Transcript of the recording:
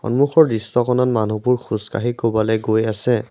সন্মুখৰ দৃশ্যখনত মানুহটো খোজকাঢ়ি ক'বালে গৈ আছে।